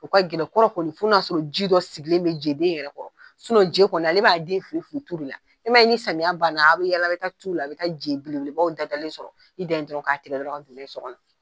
U ka jeden foro kɔni fɔ n'a y'a sɔrɔ ji dɔ sigilen bɛ jɛ den yɛrɛ kɔrɔ je ale b'a den fili fili tu cogomin, e ma ye ni samiya banna, a bɛ yala jɛ tu la, a bɛ t'a sɔrɔ je belebebaw da dalen sɔrɔ, i dan ye dɔrɔnw k'a tigɛ ka taa n'a ye so kɔnɔn.